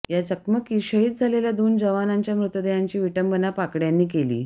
या चकमकीत शहीद झालेल्या दोन जवानांच्या मृतदेहांची विटंबना पाकडय़ांनी केली